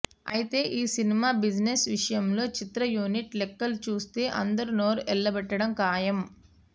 అయితే ఈ cinema business విషయంలో చిత్ర యూనిట్ లెక్కలు చూస్తే అందరూ నోరెళ్లబెట్టడం ఖాయం